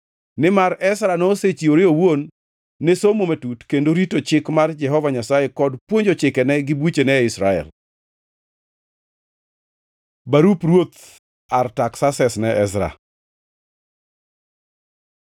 Nimar Ezra nosechiwore owuon ne somo matut kendo rito Chik mar Jehova Nyasaye, kod puonjo chikene gi buchene e Israel. Barup ruoth Artaksases ne Ezra